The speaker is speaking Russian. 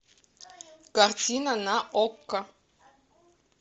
картина на окко